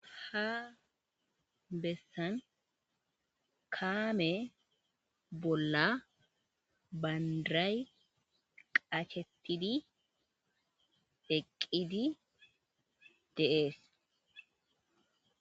ha bessan kaame bolla bandiray qachetidi eqqidi deees